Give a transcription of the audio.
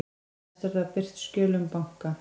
Næst verða birt skjöl um banka